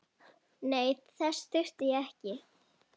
Nei, þess þurfti ég ekki.